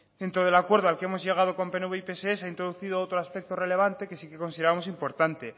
dentro del acuerdo al que hemos llegado con pnv y pse se ha introducido otro aspecto relevante que sí que consideramos importante